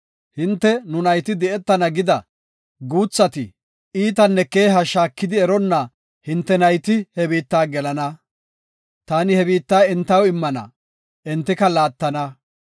Hinte, nu nayti di7etana gida guuthati, iitanne keeha shaakidi eronna hinte nayti he biitta gelana. Taani he biitta entaw immana; entika laattana.